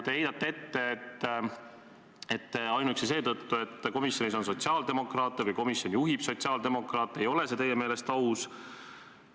Te heitsite ette, et ainuüksi seetõttu, et komisjonis on sotsiaaldemokraate või komisjoni juhib sotsiaaldemokraat, ei ole see teie meelest aus.